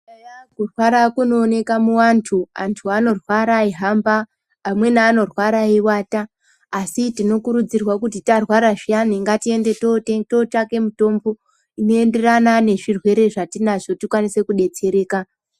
Eya kurwara kunooneka muvantu vantu eihamba amweni anorwara eivata. Asi tinokurudzirwa kuti tarwara zviyani tinoende totsvake mutombo, inoenderana nezvirwere zvatinazvo tikasire kubetsereka.